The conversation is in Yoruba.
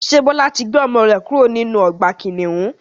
Ṣé Bọlá tí gbé ọmọ rẹ kúrò nínú ọgbà kìnnìún?